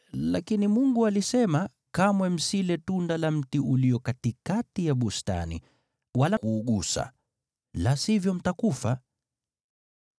lakini Mungu alisema, ‘Kamwe msile tunda la mti ulio katikati ya bustani, wala kuugusa, la sivyo mtakufa.’ ”